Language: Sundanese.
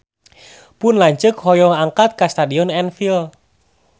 Pun lanceuk hoyong angkat ka Stadion Anfield